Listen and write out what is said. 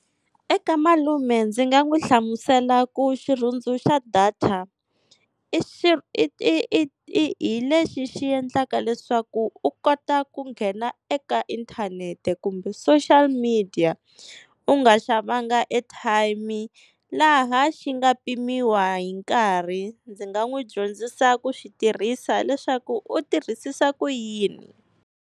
Eka malume ndzi nga n'wi hlamusela ku xirhundzu xa data, i hi lexi xi endlaka leswaku u kota ku nghena eka inthanete kumbe social media, u nga xavanga airtime laha xi nga pimiwa hi nkarhi. Ndzi nga n'wi dyondzisa ku xi tirhisa leswaku u tirhisisa ku yini.